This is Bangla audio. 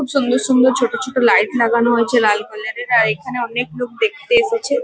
খুব সুন্দর সুন্দর ছোট ছোট লাইট লাগানো আছে লাল কালার -এর আর এখানে অনেক লোক দেখতে এসেছে।